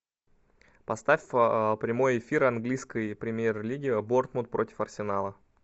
поставь прямой эфир английской премьер лиги борнмут против арсенала